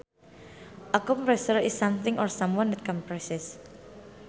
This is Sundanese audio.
A compressor is something or someone that compresses